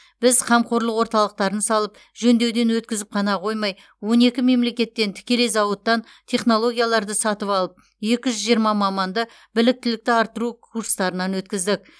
біз қамқорлық орталықтарын салып жөндеуден өткізіп қана қоймай он екі мемлекеттен тікелей зауыттан технологияларды сатып алып екі жүз жиырма маманды біліктілікті арттыру курстарынан өткіздік